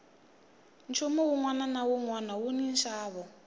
nchumu wunwana na wunwana wuni nxavo